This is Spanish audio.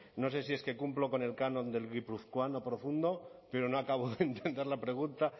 no sé si es que cumplo con el canon del guipuzcoano profundo pero no acabo de entender la pregunta